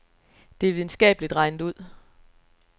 Det er videnskabeligt regnet ud.